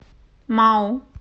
мау